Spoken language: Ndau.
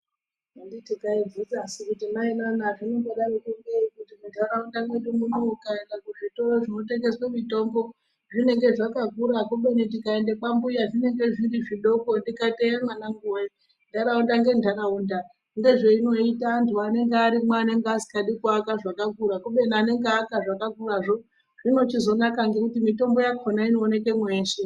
Handiti taibvunza suu kuti mai naa zvinombodaro poo ngei ukaenda kuzvitoro zvinotengesa mitombo zvinenge zvakavhura kubeni tikaenda kwambuya kunenge zviri zvidoko tikati eya mwanangu ndaraunda nendaraunda ndozvayinoita vandu vanenge vasingadi kuvaka zvakura kumweni anovaka ngezvakakura zvoo zvinozonaka nekuti mitombo yachona inooneke mweshe.